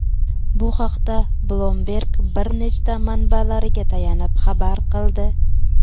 Bu haqda Bloomberg bir nechta manbalariga tayanib xabar qildi.